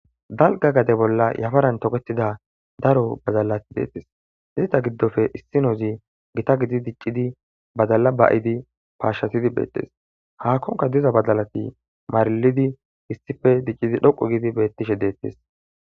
dalga gade bolla yafaran tokettida daro badalati deettes dizita giddofe issinozi gita gidi diccidi badala ba7idi paashatidi beettes haakkonka diza badalati maralidi hissife diccidi dhoqu gidi bettishe deettis